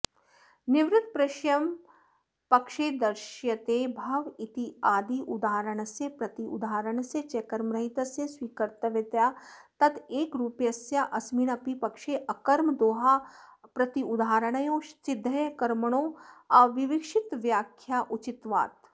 निवृत्तप्रेषमपक्षे दर्शयते भव इत्याद्युदाहरणस्य प्रत्युदाहरणस्य च कर्मरहितस्य स्वीकर्तव्यतया तदैकरूप्यस्याऽस्मिन्नपि पक्षे अकर्मकोदाहरमप्रत्युदाहरणयोः सिद्ध्ये कर्मणोऽविवक्षितत्वाव्याख्याया उचितत्वात्